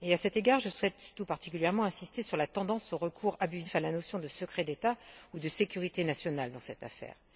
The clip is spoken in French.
À cet égard, je souhaite tout particulièrement insister sur la tendance au recours abusif à la notion de secret d'État ou de sécurité nationale dans cette affaire.